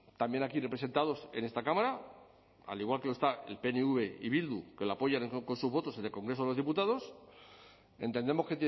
también aquí representados en esta cámara al igual que lo está el pnv y bildu que le apoyan con sus votos en el congreso de los diputados entendemos